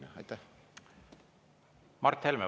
Mart Helme, palun!